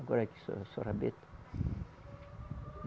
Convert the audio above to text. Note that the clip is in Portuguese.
Agora aqui sou só rabeta.